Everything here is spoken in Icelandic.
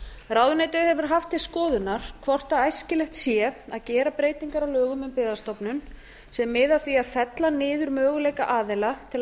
ráðuneytið hefur haft til skoðunar hvort æskilegt sé að gera breytingar á lögum um byggðastofnun sem miða að á að fella niður möguleika aðila til